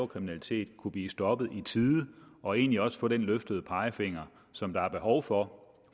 kriminalitet kunne blive stoppet i tide og egentlig også få den løftede pegefinger som der er behov for